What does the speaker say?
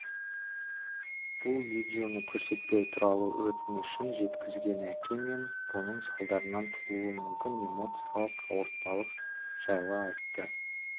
бұл видеоны көрсетпеу туралы өтінішін жеткізген әке мен бұның салдарынан тууы мүмкін эмоциялық ауыртпалық жайлы айтты